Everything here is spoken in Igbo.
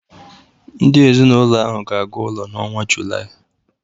Ndị ezinaụlọ ahụ ga-aga ụlọ n'ọnwa Julaị